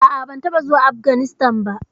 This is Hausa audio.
A'a, ban taɓa zuwa Afganistan ba?